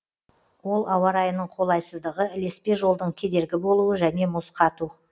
ол ауа райының қолайсыздығы ілеспе жолдың кедергі болуы және мұз қату